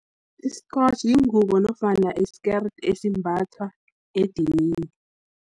Iskotjhi, yingubo nofana iskerede, esimbatha edinini.